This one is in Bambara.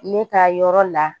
Ne ka yɔrɔ la